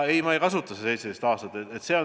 Ei, ma ei kasuta seda 17 aastat.